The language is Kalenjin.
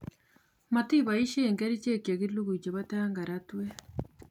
Motiboishien kerichek chekilugui chebo tangaratwet